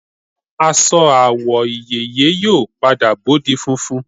Aṣọ àwọ̀ ìyeyè yóò padà bó di funfun